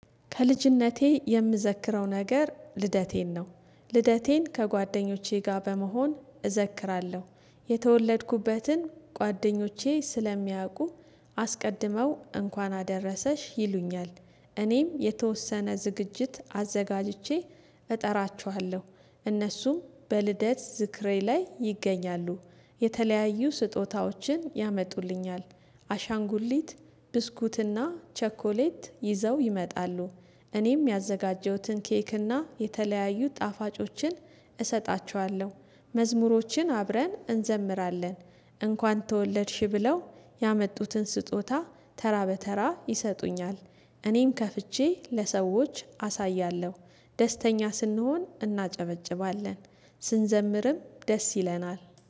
ከልጅነቴ የምዘክረው ነገር ልደቴን ነው። ልደቴን ከጓደኞቼ ጋር በመሆን እዘክራለሁ የተወለድኩበትን ጓደኞቼ ስለሚያውቁ አስቀድመው እንኳን አደረሰሽ ይሉኛል። እኔም የተወሰነ ዝግጅት አዘጋጅቼ እጠራችኋለሁ። እነሱም በልደት ዝክሬ ላይ ይገኛሉ። የተለያዩ ስጦታዎችን ያመጡልኛል አሻንጉሊት ብስኩትና ቸኮሌት ይዘው ይመጣሉ። እኔም ያዘጋጀሁትን ኬክና የተለያዩ ጣፋጮችን እሰጣችኋለሁ። መዝሙሮችን አብረን እንዘምራለን እንኳን ተወለድሽ ብለው ያመጡትን ስጦታ ተራ በተራ ይሰጡኛል። እኔም ከፍቼ ለሰዎች አሳያለሁ። ደስተኛ ስንሆን እናጨበጭባለን ስንዘምርም ደስ ይለናል